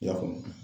I y'a faamu